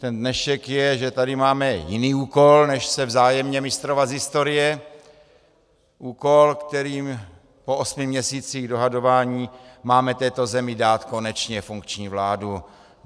Ten dnešek je, že tady máme jiný úkol než se vzájemně mistrovat z historie, úkol, kterým po osmi měsících dohadování máme této zemi dát konečně funkční vládu.